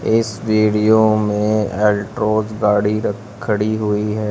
इस वीडियो में अल्ट्रोज गाड़ी रख खड़ी हुई है।